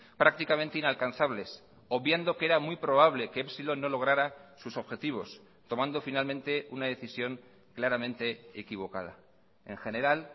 prácticamente inalcanzables obviando que era muy probable que epsilon no lograra sus objetivos tomando finalmente una decisión claramente equivocada en general